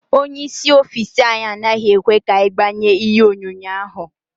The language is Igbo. Ónyé ịsị ọffici anyị anaghị ekwe ka anyị gbanye ihe onyonyo ahụ.